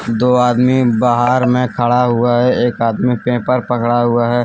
दो आदमी बाहर में खड़ा हुआ है एक आदमी पेपर पकड़ा हुआ है ।